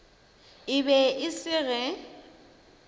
e be e se ge